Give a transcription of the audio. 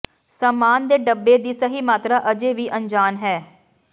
ਸਾਮਾਨ ਦੇ ਡੱਬੇ ਦੀ ਸਹੀ ਮਾਤਰਾ ਅਜੇ ਵੀ ਅਣਜਾਣ ਹੈ